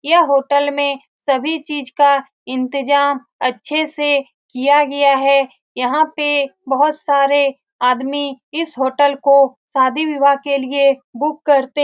यह होटल में सभी चीज का इंतजाम अच्छे से किया गया है यहाँ पे बहुत सारे आदमी इस होटल को शादी बिवाह के लिए बुक करते --